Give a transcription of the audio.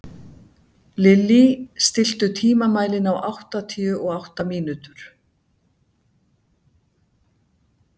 Lílý, stilltu tímamælinn á áttatíu og átta mínútur.